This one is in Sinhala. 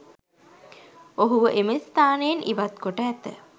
ඔහුව එම ස්ථානයෙන් ඉවත්කොට ඇත